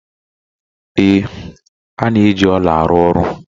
Ee, a na-eji ọla arụ ọrụ.